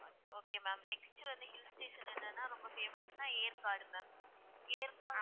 okay ma'am next வந்து hill station என்னனா ரொம்ப famous னா ஏற்காடு ma'am ஏற்காடு